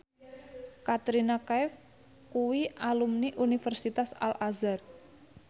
Katrina Kaif kuwi alumni Universitas Al Azhar